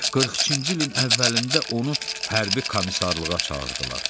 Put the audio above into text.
42-ci ilin əvvəlində onu hərbi komisarlığa çağırdılar.